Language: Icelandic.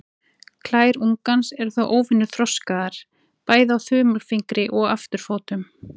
Klær ungans eru þó óvenju þroskaðar, bæði á þumalfingri og afturfótum.